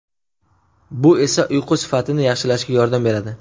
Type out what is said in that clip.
Bu esa uyqu sifatini yaxshilashga yordam beradi.